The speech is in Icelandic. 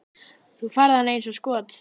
Þú færð hana eins og skot.